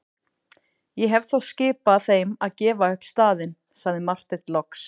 Ég hef þá skipað þeim að gefa upp staðinn, sagði Marteinn loks.